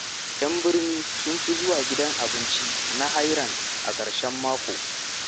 Yan birni sun fi zuwa gidan abinci na Hairan a ƙarshen mako.